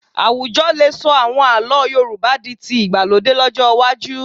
Àwùjọ lè sọ àwọn àlọ́ Yorùbá di ti ìgbàlódé lọ́jọ́ iwájú